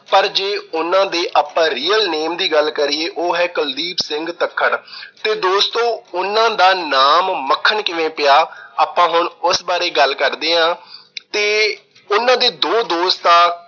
ਪਰ ਜੇ ਉਹਨਾਂ ਦੇ ਆਪਾ real name ਦੀ ਗੱਲ ਕਰੀਏ, ਉਹ ਹੈ ਕੁਲਦੀਪ ਸਿੰਘ ਤੱਖਰ ਤੇ ਦੋਸਤੋ ਉਹਨਾਂ ਦਾ ਨਾਮ ਮੱਖਣ ਕਿਵੇਂ ਪਿਆ, ਆਪਾ ਹੁਣ ਉਸ ਬਾਰੇ ਗੱਲ ਕਰਦੇ ਆਂ ਤੇ ਉਹਨਾਂ ਦੇ ਦੋ ਦੋਸਤ ਆ